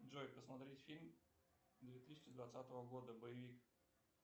джой посмотреть фильм две тысячи двадцатого года боевик